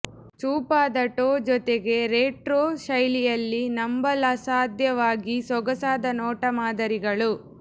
ಚೂಪಾದ ಟೋ ಜೊತೆಗೆ ರೆಟ್ರೊ ಶೈಲಿಯಲ್ಲಿ ನಂಬಲಸಾಧ್ಯವಾಗಿ ಸೊಗಸಾದ ನೋಟ ಮಾದರಿಗಳು